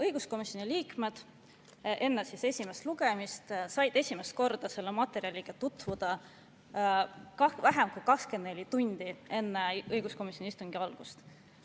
Õiguskomisjoni liikmed said enne esimest lugemist esimest korda selle materjaliga tutvuda vähem kui 24 tundi enne õiguskomisjoni istungi algust.